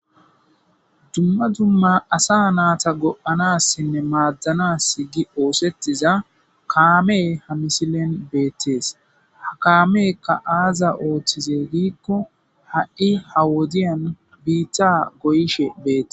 Dumma dumma asa naata go'anassinne maaddanas gi oosettiza kaame ha misilen beettees ha kaamekka aaza ooththize diikko ha'i ha wodiyan biitta goyishe beette..